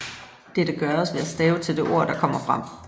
Dette gøres ved at stave til det ord der kommer frem